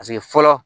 Paseke fɔlɔ